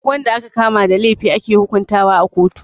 Duk wanda aka kama da laifi ake hukuntawa a kotu.